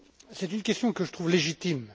c'est une question que je trouve légitime.